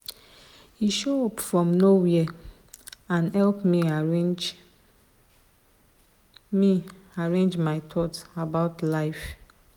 he show up from nowhere and help me arrange me arrange my thoughts about life.